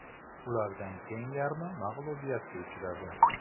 Ulardan teng yarmi mag‘lubiyatga uchradi.